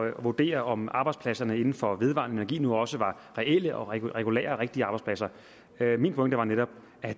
at vurdere om arbejdspladserne inden for vedvarende nu også var reelle og regulære rigtige arbejdspladser min pointe var netop at